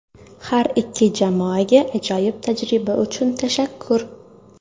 Har ikki jamoaga ajoyib tajriba uchun tashakkur.